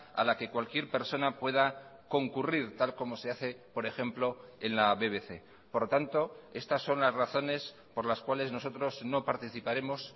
a la que cualquier persona pueda concurrir tal como se hace por ejemplo en la bbc por lo tanto estas son las razones por las cuales nosotros no participaremos